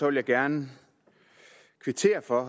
vil jeg gerne kvittere for